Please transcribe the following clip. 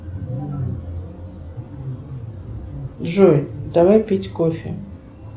джой давай пить кофе